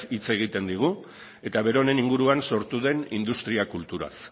hitz egiten digu eta beronen inguruan sortu den industria kulturaz